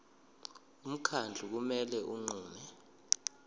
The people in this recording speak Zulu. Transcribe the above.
umkhandlu kumele unqume